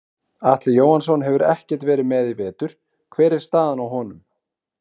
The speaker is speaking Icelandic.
Atli Jóhannsson hefur ekkert verið með í vetur hver er staðan á honum?